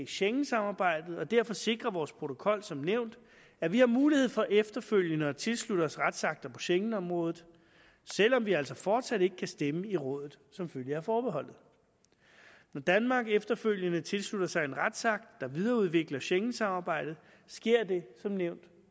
schengensamarbejdet og derfor sikrer vores protokol som nævnt at vi har mulighed for efterfølgende at tilslutte os retsakter på schegenområdet selv om vi altså fortsat ikke kan stemme i rådet som følge af forbeholdet når danmark efterfølgende tilslutter sig en retsakt der videreudvikler schengensamarbejdet sker det som nævnt